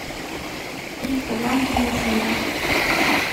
триста грамм чернослива